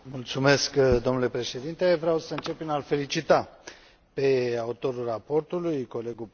Domnule președinte, vreau să încep prin a l felicita pe autorul raportului, colegul Panzeri.